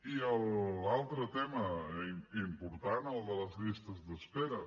i l’altre tema important el de les llistes d’espera